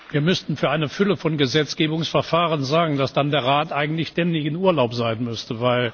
Wir müssten für eine Fülle von Gesetzgebungsverfahren sagen, dass dann der Rat eigentlich ständig in Urlaub sein müsste.